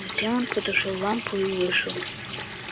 затем он потушил лампу и вышел